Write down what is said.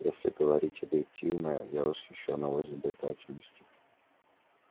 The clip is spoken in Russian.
если говорить объективно я восхищён его изобретательностью